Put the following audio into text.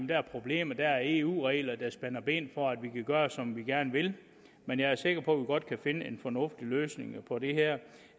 der er problemer at der er eu regler der spænder ben for at vi kan gøre som vi gerne vil men jeg er sikker på at vi godt kan finde en fornuftig løsning på det her